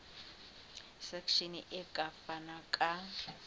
section e ka fana ka